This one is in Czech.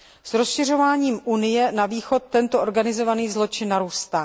S rozšiřováním Unie na východ tento organizovaný zločin narůstá.